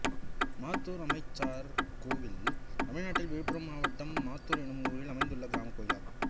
மாத்தூர் அம்மச்சார் கோயில் தமிழ்நாட்டில் விழுப்புரம் மாவட்டம் மாத்தூர் என்னும் ஊரில் அமைந்துள்ள கிராமக் கோயிலாகும்